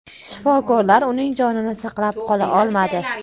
Shifokorlar uning jonini saqlab qola olmadi.